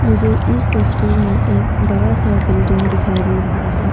मुझे इस तस्वीर में एक बड़ा सा बिल्डिंग दिखाई दे रहा है।